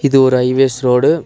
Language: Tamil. இது ஒரு ஹைவேஸ் ரோடு .